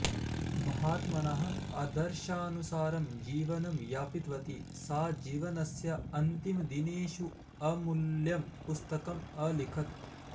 महात्मनः आदर्शानुसारं जीवनं यापितवती सा जीवनस्य अन्तिमदिनेषु अमूल्यं पुस्तकम् अलिखत्